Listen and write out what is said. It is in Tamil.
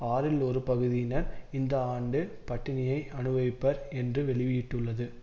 ஆறில் ஒரு பகுதியினர் இந்த ஆண்டு பட்டினியை அனுபவிப்பர் என்று வெளியீட்டுள்ளது